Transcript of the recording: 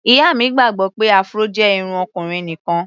Ìyá mi gbàgbọ́ pé Afro jẹ́ irun ọkùnrin nìkan.